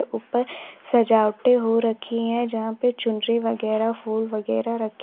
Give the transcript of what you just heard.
ऊपर सजावटे हो रखी हैं जहां पे चुनरी वगैरह फूल वगैरह रखे --